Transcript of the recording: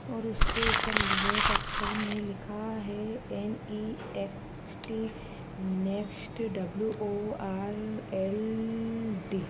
ओर उसके ऊपर ल--रेड अक्षर में लिखा है एन.ई.एक्स.टी नेक्स्ट डब्लू.ओ.आर.एल.डी --